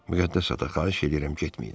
Müqəddəs ata, xahiş eləyirəm getməyin.